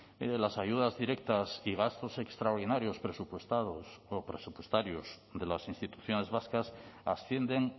mire las ayudas directas y gastos extraordinarios presupuestarios de las instituciones vascas ascienden